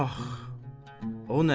Ax, o nə?